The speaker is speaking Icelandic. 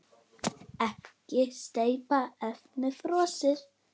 Ekkert steypt, efnið frosið.